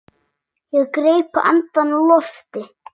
Ég greip andann á lofti.